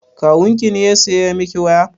Kawun ki ne ya saya miki waya?